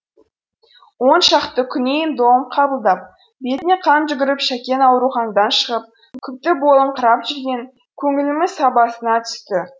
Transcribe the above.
он шақты күн ем дом қабылдап бетіне қан жүгіріп шәкең ауруханадан шығып күпті болыңқырап жүрген көңіліміз сабасына түсті